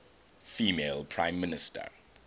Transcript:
female prime minister